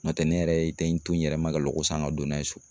N'o tɛ ne yɛrɛ ye tɛ n to n yɛrɛ ma ka lako san ka don n'a ye so